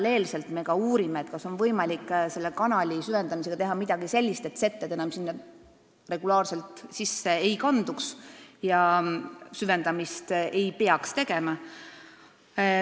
Loomulikult me uurime, kas tööde käigus on võimalik teha midagi sellist, et setted enam regulaarselt kanalisse ei kanduks ja edaspidi ei peaks süvendamist tegema.